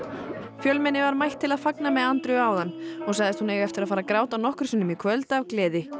fjölmenni var mætt til að fagna með Andreu áðan og sagðist hún eiga eftir að fara að gráta nokkrum sinnum í kvöld af gleði